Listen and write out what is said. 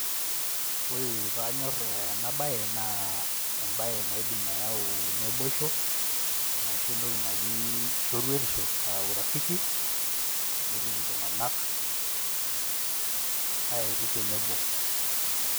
Ore pee anyorr ena baye naa embae naidim ayau naboisho aashu entoki naji shoruetisho aa urafiki netum iltunganak aayetu tenebo.